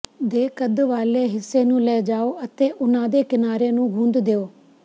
ਦੇ ਕੱਦ ਵਾਲੇ ਹਿੱਸੇ ਨੂੰ ਲੈ ਜਾਓ ਅਤੇ ਉਨ੍ਹਾਂ ਦੇ ਕਿਨਾਰੇ ਨੂੰ ਗੂੰਦ ਦਿਉ